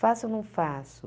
Faço ou não faço?